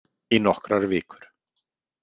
Í nokkrar vikur.